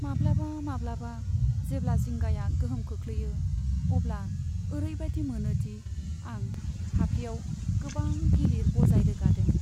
माब्लाबा माब्लाबा, जेब्ला जिंगाया गोहोम खोख्लैयो, अब्ला ओरैबादि मोनोदि आं फाफ्लिआव गोबां गिलिर बजाय रोगादों।